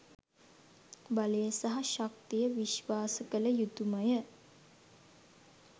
බලය සහ ශක්තිය විශ්වාස කළ යුතුමය.